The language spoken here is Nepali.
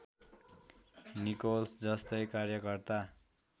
निकोल्स जस्तै कार्यकर्ता